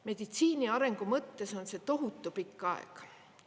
Meditsiini arengu mõttes on see tohutu pikk aeg.